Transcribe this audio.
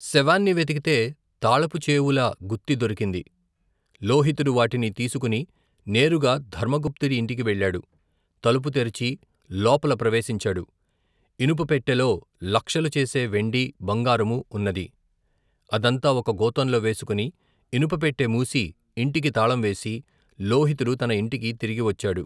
శవాన్ని వెతికితే తాళపుచేవుల గుత్తి దొరికింది. లోహితుడు వాటిని తీసుకుని నేరుగా ధర్మగుప్తుడి ఇంటికి వెళ్ళాడు. తలుపు తెరిచి లోపల ప్రవేశించాడు. ఇనుప పెట్టెలో లక్షలుచేసే వెండి, బంగారమూ ఉన్నది. అదంతా ఒక గోతంలో వేసుకుని, ఇనుపపెట్టే మూసి, ఇంటికి తాళం వేసి లోహితుడు తన ఇంటికి తిరిగి వచ్చాడు.